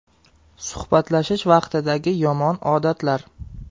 Suhbatlashish vaqtidagi yomon odatlar.